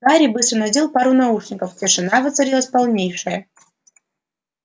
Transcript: гарри быстро надел пару наушников тишина воцарилась полнейшая